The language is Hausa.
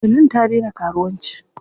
Helen ta daina karuwanci.